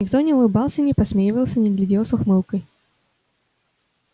никто не улыбался не подсмеивался не глядел с ухмылкой